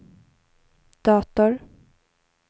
dator